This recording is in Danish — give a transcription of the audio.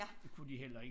Det kunne de heller ikke